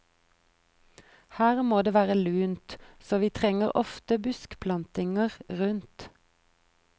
Her må det være lunt, så vi trenger ofte buskplantinger rundt.